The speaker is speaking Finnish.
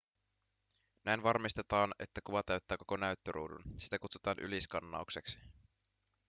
näin varmistetaan että kuva täyttää koko näyttöruudun sitä kutsutaan yliskannaukseksi